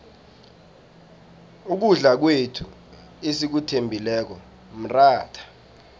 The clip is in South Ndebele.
ukudla kwethu esikuthembileko mratha